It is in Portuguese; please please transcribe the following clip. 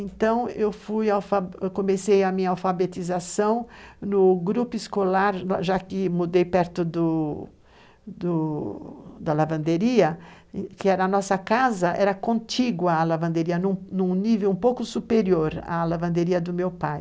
Então, eu fui alfa, comecei a minha alfabetização no grupo escolar, já que mudei perto do do da lavanderia, que era a nossa casa, era contigo a lavanderia, num nível um pouco superior à lavanderia do meu pai.